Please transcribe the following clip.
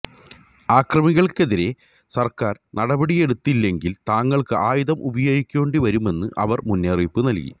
അക്രമികള്ക്കെതിരേ സര്ക്കാര് നടപടിയെടുത്തില്ലെങ്കില് തങ്ങള്ക്ക് ആയുധം ഉപയോഗിക്കേണ്ടിവരുമെന്ന് അവര് മുന്നറിയിപ്പ് നല്കി